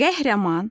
Qəhrəman